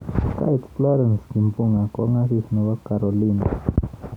Kait Florence Kimbunga Kong asis nebo Carolina.